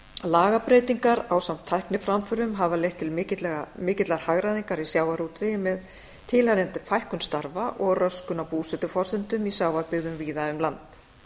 lagabreytingar ásamt tækniframförum hafa leitt til mikillar hagræðingar í sjávarútvegi með tilheyrandi fækkun starfa og röskun á búsetuforsendum í sjávarbyggðum víða um land